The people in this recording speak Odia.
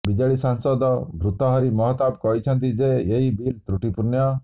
ବିଜେଡି ସାଂସଦ ଭର୍ତ୍ତୃହରି ମହତାବ କହିଛନ୍ତି ଯେ ଏହି ବିଲ୍ ତ୍ରୁଟିପୂର୍ଣ୍ଣ